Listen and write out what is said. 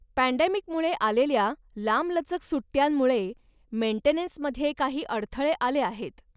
पँडेमिकमुळे आलेल्या लांबलचक सुट्ट्यांमुळे मेंटेनन्समध्ये काही अडथळे आले आहेत.